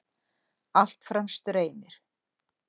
Allt fram streymir.